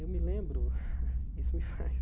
Eu me lembro, isso me faz...